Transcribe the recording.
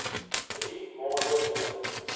drie maande neem